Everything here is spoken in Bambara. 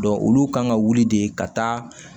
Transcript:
olu kan ka wuli de ka taa